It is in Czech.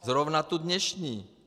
Zrovna tu dnešní.